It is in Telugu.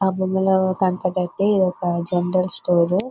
ఇక్క్కడ కనిపించిది అయతె ఇది ఒక జనరల్ స్టోర్ .